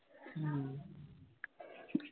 உம்